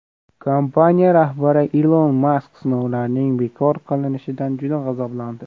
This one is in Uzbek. Kompaniya rahbari Ilon Mask sinovlarning bekor qilinishidan juda g‘azablandi.